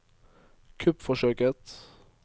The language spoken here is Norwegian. kuppforsøket